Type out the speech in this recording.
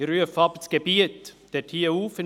Ich rufe aber das Gebiet in Prêles auf: